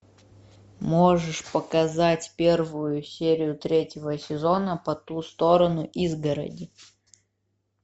можешь показать первую серию третьего сезона по ту сторону изгороди